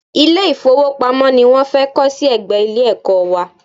Ilé-ìfówopamọ́ ni wọ́n fẹ́ kọ́ sí ẹ̀gbẹ́ Ilé-ẹ̀kọ́ wa